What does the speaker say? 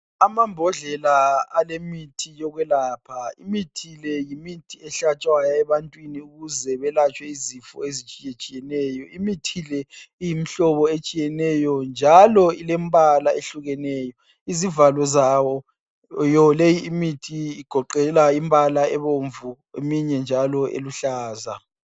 Amambodlela alemithi yokwelapha imithi le yimithi yehlatshwayo ebantwini ukuze belatshwe izifo ezitshiyetshiyeneyo, imithi le iyimihlobo etshiyeneyo njalo ilembala ehlukeneyo, izivalo zawo leyi imithi igoqela imbala ebomvu eminye njalo eluhlaza.